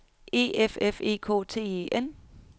E F F E K T E N